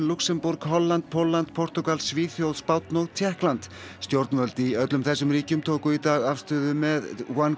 Lúxemborg Holland Pólland Portúgal Svíþjóð Spánn og Tékkland stjórnvöld í öllum þessum ríkjum tóku í dag afstöðu með